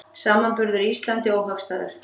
Samanburður Íslandi óhagstæður